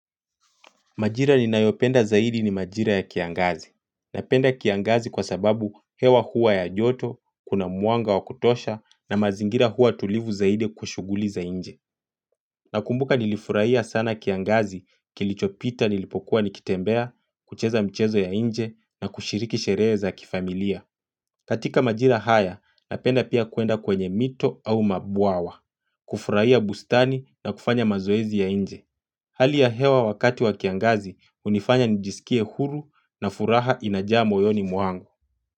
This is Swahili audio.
Majira ni nayopenda zaidi ni majira ya kiangazi. Napenda kiangazi kwa sababu hewa hua ya joto, kuna mwanga wa kutosha na mazingira hua tulivu zaidi kwa shuguli za inje. Nakumbuka nilifurahia sana kiangazi, kilichopita nilipokuwa nikitembea, kucheza mchezo ya nje na kushiriki sherehe za kifamilia. Katika majira haya, napenda pia kuenda kwenye mito au mabwawa, kufurahia bustani na kufanya mazoezi ya nje. Hali ya hewa wakati wa kiangazi, unifanya nijisikie huru na furaha inajaa moyoni mwangu.